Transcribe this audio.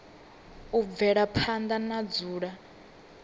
u bvela phanda na dzula